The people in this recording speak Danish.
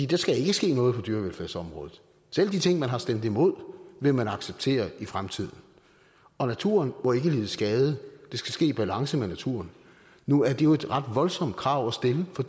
der skal ikke ske noget på dyrevelfærdsområdet selv de ting man har stemt imod vil man acceptere i fremtiden og naturen må ikke lide skade det skal ske i balance med naturen nu er det jo et ret voldsomt krav at stille for